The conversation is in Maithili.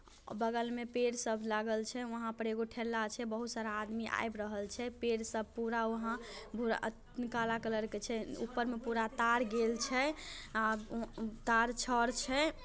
बगल में पेड़ सब लागल छे वहां पर एगो ठेला छे बहुत सारा आदमी आए ब्रहल छे पेड़ सब पूरा वहां काला कलर के छे ऊपर में पूरा तार गेल छे। आ तार छर छे